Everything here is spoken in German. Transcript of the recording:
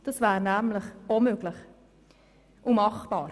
Das wäre nämlich auch möglich und machbar.